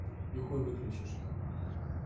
и хуй выключишь их